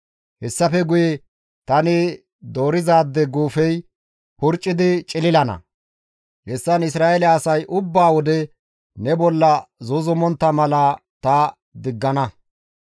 Hessafe guye tani doorizaade guufey purccidi cililana; hessan Isra7eele asay ubba wode ne bolla zuuzumontta mala ta diggana.»